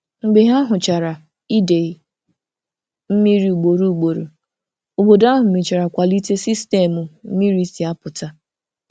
Mgbe ha hụchara idei mmiri ugboro ugboro, obodo ahụ mechara kweta ịkwalite sistemu mmiri si apụta.